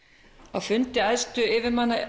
á fundi æðstu yfirmanna